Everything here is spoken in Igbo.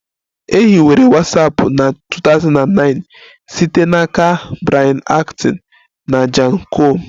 E hiwere Watsapụ na 2009 site n'aka Brian Acton na Jan koum